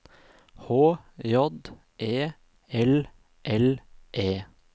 H J E L L E